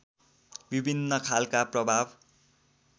विभिन्न खालका प्रभाव